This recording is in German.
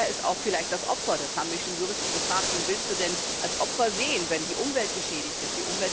Und wer ist vielleicht das Opfer? Das haben mich schon Juristen gefragt Wen willst du denn als Opfer sehen, wenn die Umwelt geschädigt ist?